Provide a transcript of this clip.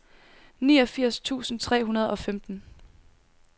niogfirs tusind tre hundrede og femten